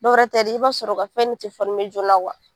Dɔwɛrɛ tɛ dɛ i b'a sɔrɔ u ka fɛn de tɛ joona